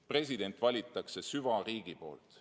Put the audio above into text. President valitakse süvariigi poolt.